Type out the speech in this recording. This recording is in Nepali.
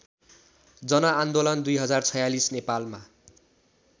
जनआन्दोलन २०४६ नेपालमा